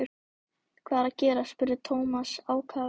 Hvað er að gerast? spurði Thomas ákafur.